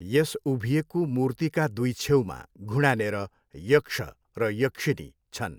यस उभिएको मूर्तिका दुई छेउमा घुँडानेर यक्ष र यक्षिनी छन्।